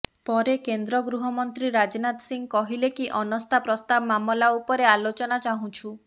ପରେ କେନ୍ଦ୍ର ଗୃହମନ୍ତ୍ରୀ ରାଜନାଥ ସିଂହ କହିଲେ କି ଅନାସ୍ଥା ପ୍ରସ୍ତାବ ମାମଲା ଉପରେ ଆଲୋଚନା ଚାହୁଁଛୁ